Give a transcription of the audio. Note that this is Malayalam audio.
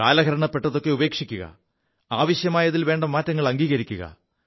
കാലഹരണപ്പെതൊക്കെ ഉപേക്ഷിക്കുക ആവശ്യമായതിൽ വേണ്ട മാറ്റങ്ങൾ അംഗീകരിക്കുക